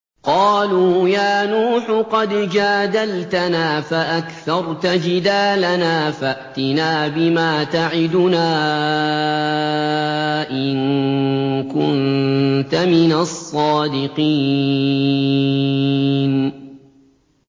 قَالُوا يَا نُوحُ قَدْ جَادَلْتَنَا فَأَكْثَرْتَ جِدَالَنَا فَأْتِنَا بِمَا تَعِدُنَا إِن كُنتَ مِنَ الصَّادِقِينَ